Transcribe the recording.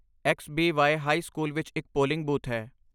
ਐਕਸ.ਬੀ.ਵਾਈ. High school ਵਿੱਚ ਇੱਕ polling booth ਹੈ।